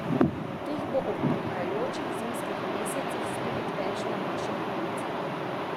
Teh bo ob prihajajočih zimskih mesecih spet več na naših ulicah.